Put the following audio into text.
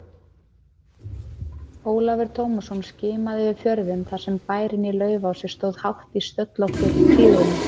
Ólafur Tómasson skimaði yfir fjörðinn þar sem bærinn í Laufási stóð hátt í stöllóttri hlíðinni.